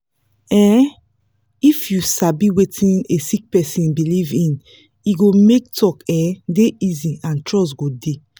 um if you sabi wetin a sick person believe in e go make talk um dey easy and trust go dey